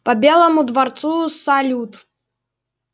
по белому дворцу салют